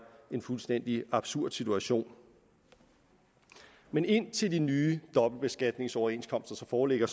en fuldstændig absurd situation men indtil de nye dobbeltbeskatningsoverenskomster så foreligger